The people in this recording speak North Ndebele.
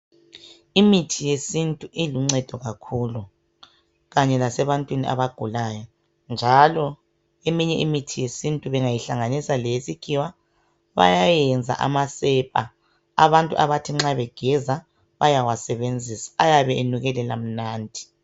Imithi yesintu iluncedo kakhulu kanye lasebantwini abagulayo njalo eminye imithi yesintu bengayihlanganisa leyesikhiwa bayenza amasepa abantu abathi nxa begeza bayawasebenzisa ayabe enukelela mnandi.